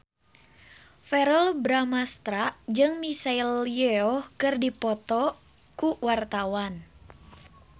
Verrell Bramastra jeung Michelle Yeoh keur dipoto ku wartawan